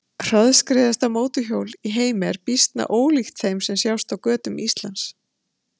Hraðskreiðasta mótorhjól í heimi er býsna ólíkt þeim sem sjást á götum Íslands.